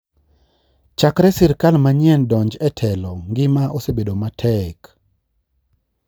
Chakre sirkal manyien donj e telo ngima osebedo matek